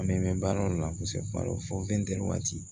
An bɛ mɛn baara dɔ la kosɛbɛ kuma dɔw fɔ ntɛnɛn waati